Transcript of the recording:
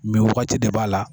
Mɛ wagati de b'a la